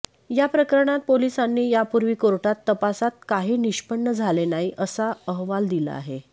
या प्रकरणात पोलिसांनी यापूर्वी कोर्टात तपासात काही निष्पन्न झाले नाही असा अहवाल दिला आहे